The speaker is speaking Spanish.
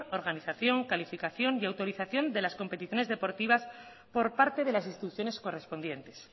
organización calificación y autorización de las competiciones deportiva por parte de las instituciones correspondientes